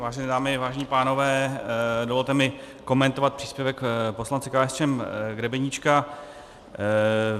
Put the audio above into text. Vážené dámy, vážení pánové, dovolte mi komentovat příspěvek poslance KSČM Grebeníčka.